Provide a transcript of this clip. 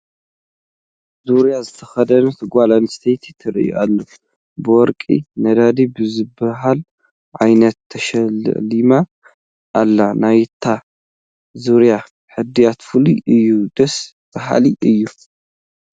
ዙርያ ዝተኸደነት ጓል ኣነስተይቲ ትርአ ኣላ፡፡ ብወርቂ ነዲዳ ብዝበሃል ዓይነት ተሸላሊማ ኣላ፡፡ ናይቲ ዙርያ ሕድያት ፍሉይ እዩ፡፡ ደስ በሃሊ እዩ፡፡